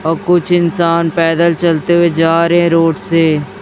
ओ कुछ इंसान पैदल चलते हुए जा रहे है रोड से--